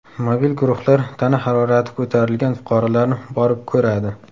Mobil guruhlar tana harorati ko‘tarilgan fuqarolarni borib ko‘radi.